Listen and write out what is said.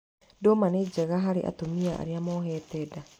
Ndũma nĩ njega harĩ atumia arĩa mohete nda.